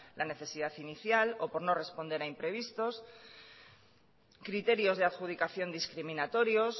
la necesidad inicial o por no responder a imprevistos criterios de adjudicación discriminatorios